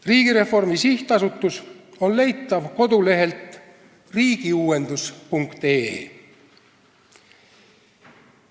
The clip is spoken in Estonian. Riigireformi SA on leitav kodulehelt riigiuuendus.ee.